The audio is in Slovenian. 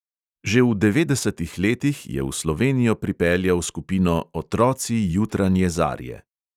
Že v devetdesetih letih je v slovenijo pripeljal skupino "otroci jutranje zarje".